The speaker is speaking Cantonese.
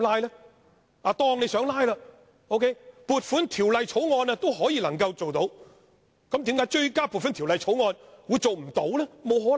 假設他想"拉布"，撥款條例草案還可以做到，那為何追加撥款條例草案會做不到呢？